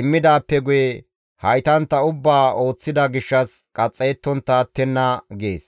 immidaappe guye haytantta ubbaa ooththida gishshas qaxxayettontta attenna› gees.